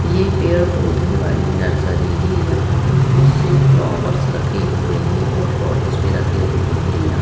ये पेड़ पौधे वाले नर्सरी है यहाँ पे बहुत से फ्लावर्स रखे हुए हैं और पॉट्स भी रखे हुए हैं।